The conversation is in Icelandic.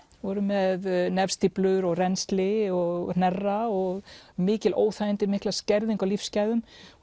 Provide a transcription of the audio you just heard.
voru með nefstíflur og rennsli og hnerra og mikil óþægindi og mikla skerðingu á lífsgæðum